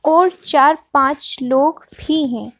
और चार-पाँच लोग भी हैं।